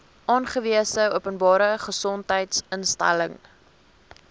aangewese openbare gesondheidsinstelling